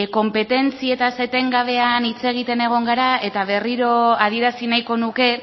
konpetentziatzat etengabeak hitz egiten egon gara eta berriro adierazi nahiko nuke